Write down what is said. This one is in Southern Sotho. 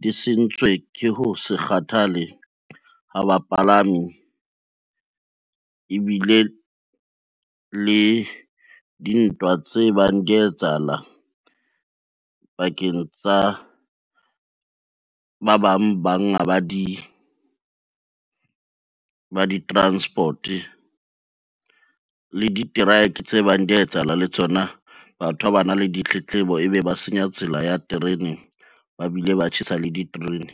di sentswe ke ho se kgathale ha bapalami ebile le dintwa tse bang dia etsahalang pakeng tsa ba bang banga ba di ba di-transport le diteraeke tse bang dia etsahala le tsona, batho ha ba na le ditletlebo, ebe ba senya tsela ya terene ba bile ba tjhesa le diterene.